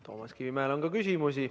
Toomas Kivimäele on ka küsimusi.